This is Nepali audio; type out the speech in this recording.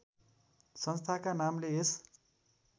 संस्थाका नामले यस